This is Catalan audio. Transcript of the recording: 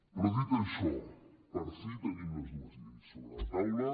però dit això per fi tenim les dues lleis sobre la taula